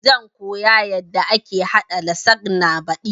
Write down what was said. Zan koya yanda ake haɗa lasagna baɗi